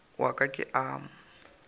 wa ka ke a mo